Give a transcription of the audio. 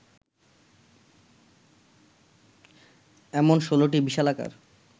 এমন ১৬টি বিশালাকার